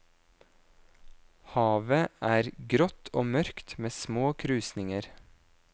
Havet er grått og mørkt med små krusninger.